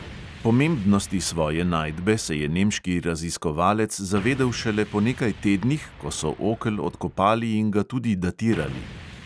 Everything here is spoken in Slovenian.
Pomembnosti svoje najdbe se je nemški raziskovalec zavedel šele po nekaj tednih, ko so okel odkopali in ga tudi datirali.